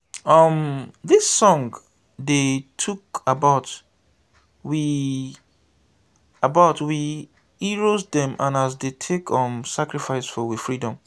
um dis song dey tok about we about we heros dem and as dey take um sacrifice for we freedom.